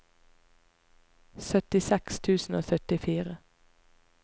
syttiseks tusen og syttifire